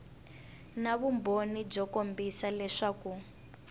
na vumbhoni byo kombisa leswaku